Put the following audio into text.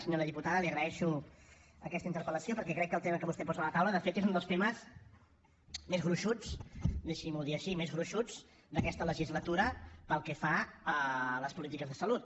senyora diputada li agraeixo aquesta interpel·lació perquè crec que el tema que vostè posa a la taula de fet és un dels temes més gruixuts deixi m’ho dir així d’aquesta legislatura pel que fa a les polítiques de salut